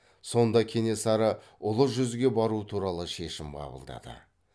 сонда кенесары ұлы жүзге бару туралы шешім қабылдады